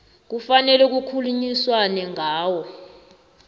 kufanele kukhulunyiswane ngawo